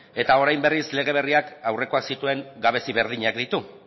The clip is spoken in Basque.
eta orain berriz lege berriak aurrekoak zituen gabezia berdinak ditu